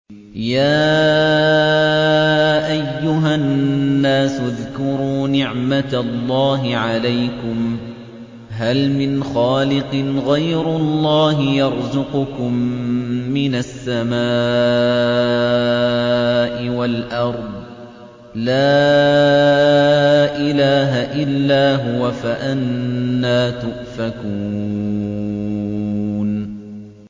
يَا أَيُّهَا النَّاسُ اذْكُرُوا نِعْمَتَ اللَّهِ عَلَيْكُمْ ۚ هَلْ مِنْ خَالِقٍ غَيْرُ اللَّهِ يَرْزُقُكُم مِّنَ السَّمَاءِ وَالْأَرْضِ ۚ لَا إِلَٰهَ إِلَّا هُوَ ۖ فَأَنَّىٰ تُؤْفَكُونَ